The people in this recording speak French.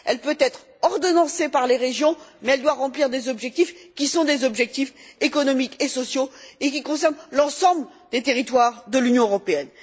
Elle peut être ordonnancée par les régions, mais elle doit remplir des objectifs qui sont des objectifs économiques et sociaux et qui concernent l'ensemble des territoires de l'Union européenne.